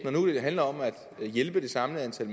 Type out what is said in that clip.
handler om at hjælpe det samme antal